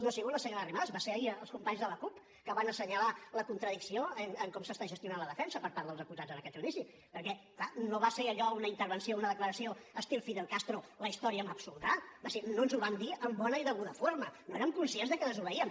no ha sigut la senyora arrimadas van ser ahir els companys de la cup que van assenyalar la contradicció de com s’està gestionant la defensa per part dels acusats en aquest judici perquè clar no va ser allò una intervenció una declaració estil fidel castro la història m’absoldrà va ser no ens ho van dir en bona i deguda forma no érem conscients de que desobeíem